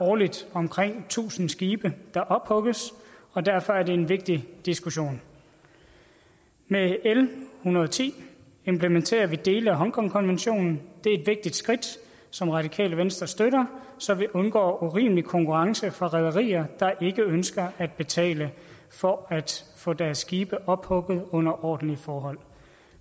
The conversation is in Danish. årligt omkring tusind skibe der ophugges og derfor er det en vigtig diskussion med l en hundrede og ti implementerer vi dele af hongkongkonventionen det er et vigtigt skridt som radikale venstre støtter så vi undgår urimelig konkurrence fra rederier der ikke ønsker at betale for at få deres skibe ophugget under ordentlige forhold